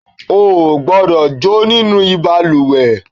o kò gbódọ̀ jó nínú ìbalùwẹ̀